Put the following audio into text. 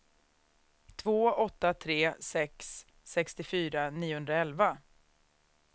två åtta tre sex sextiofyra niohundraelva